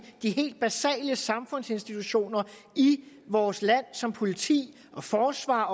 de helt basale samfundsinstitutioner i vores land som politi og forsvar